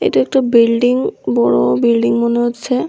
এটি একটা বিল্ডিং বড়ো বিল্ডিং মনে হচ্ছে।